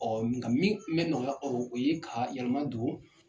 Ɔɔ nga min kun bɛ nɔgɔya, o ye ka yɛlɛma don